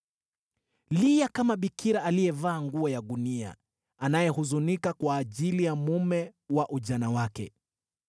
Omboleza kama bikira aliyevaa nguo ya gunia anayehuzunika kwa ajili ya mume wa ujana wake.